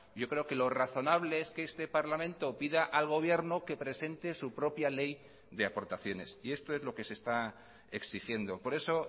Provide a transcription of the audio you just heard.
yo creo que lo razonable es que este parlamento pida al gobierno que presente su propia ley de aportaciones y esto es lo que se está exigiendo por eso